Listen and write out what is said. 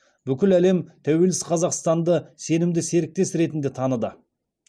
бүкіл әлем тәуелсіз қазақстанды сенімді серіктес ретінде таныды